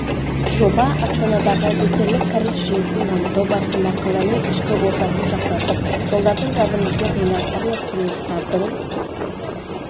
жоба астанадағы нөсерлік кәріз жүйесін дамыту барысында қаланың шкі ортасын жақсартып жолдардың жабындысын ғимараттар мен құрылыстардың